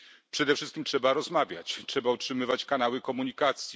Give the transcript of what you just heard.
Przede wszystkim trzeba rozmawiać. Trzeba utrzymywać kanały komunikacji.